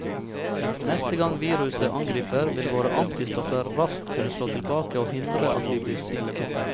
Neste gang viruset angriper, vil våre antistoffer raskt kunne slå tilbake og hindre at vi blir syke.